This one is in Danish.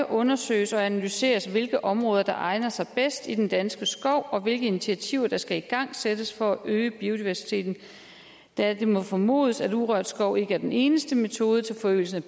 undersøges og analyseres hvilke områder der egner sig bedst i den danske skov og hvilke initiativer der skal igangsættes for at øge biodiversiteten da det må formodes at urørt skov ikke er den eneste metode til forøgelse